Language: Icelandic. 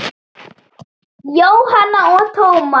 Jóhanna og Tómas.